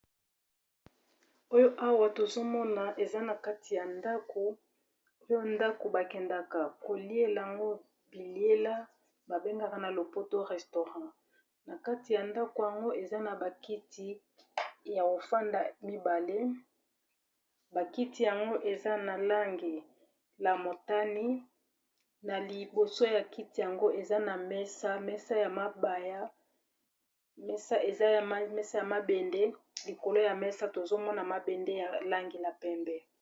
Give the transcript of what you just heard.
oyo awa tozomona eza na kati ya ndako oyo ndako bakendaka koliela yango biliela babengaka na lopoto restaurant na kati ya ndako yango eza na bakiti ya kofanda mibale bakiti yango eza na lange lamotani na liboso ya kiti yango eza na mesa sbeza mesa ya mabende likolo ya mesa tozomona mabende ya langi la pembe